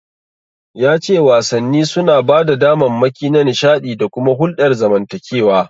Ya ce wasanni suna ba da damammaki na nishaɗi da kuma hulɗar zamantakewa.